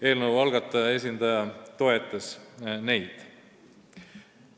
Eelnõu algataja esindaja toetas neid.